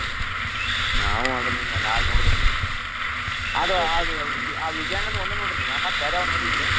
ನಾವು ಅದ್ನ ಇನ್ನ ನಾಳಿ ನೋಡಬೇಕ್ರಿ ಅದು ಅದು ಆ ಆ ವಿಜಯಾನಂದ ಒಂದ್ ನೋಡಿರ್ ನೀವ್ ಮತ್ತ್ ಬ್ಯಾರೆ ಯಾವ ನೋಡಿಲ್ರೀ?